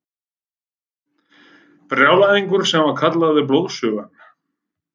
Brjálæðingur sem var kallaður Blóðsugan.